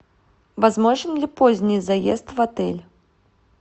возможен ли поздний заезд в отель